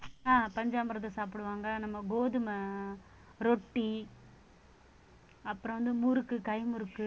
அஹ் பஞ்சாமிர்தம் சாப்பிடுவாங்க நம்ம கோதுமை ரொட்டி அப்புறம் வந்து முறுக்கு கை முறுக்கு